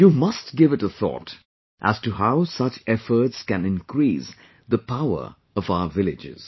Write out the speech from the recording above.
You must give it a thought as to how such efforts can increase the power of our villages